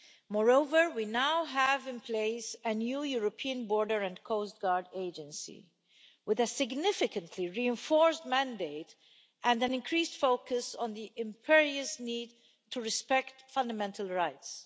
Moreover, we now have in place a new European Border and Coast Guard Agency with a significantly reinforced mandate and an increased focus on the imperious need to respect fundamental rights.